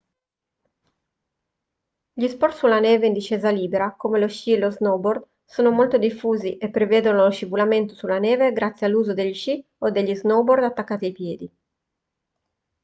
gli sport sulla neve in discesa libera come lo sci e lo snowboard sono molto diffusi e prevedono lo scivolamento sulla neve grazie all'uso degli sci o dello snowboard attaccati ai piedi